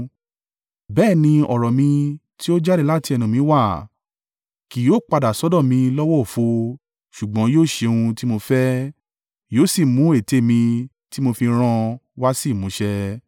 bẹ́ẹ̀ ni ọ̀rọ̀ mi tí ó jáde láti ẹnu mi wá; kì yóò padà sọ́dọ̀ mi lọ́wọ́ òfo, ṣùgbọ́n yóò ṣe ohun tí mo fẹ́, yóò sì mú ète mi tí mo fi rán an wá sí ìmúṣẹ.